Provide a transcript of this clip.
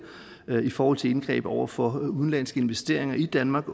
været i forhold til indgreb over for udenlandske investeringer i danmark